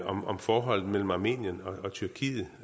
om om forholdene mellem armenien og tyrkiet